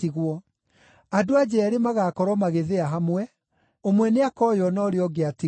Andũ-a-nja eerĩ magaakorwo magĩthĩa hamwe; ũmwe nĩakoywo na ũrĩa ũngĩ atigwo.